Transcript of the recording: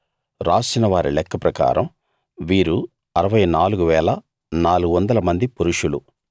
రాసిన వారి లెక్క ప్రకారం వీరు 64 400 మంది పురుషులు